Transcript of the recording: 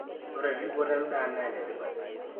ore erripotto endaa na enetipat